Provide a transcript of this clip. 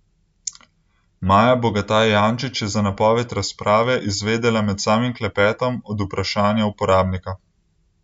Maja Bogataj Jančič je za napoved razprave izvedela med samim klepetom od vprašanja uporabnika.